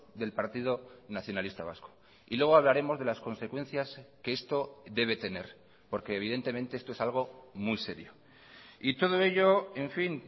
del partido nacionalista vasco y luego hablaremos de las consecuencias que esto debe tener porque evidentemente esto es algo muy serio y todo ello en fin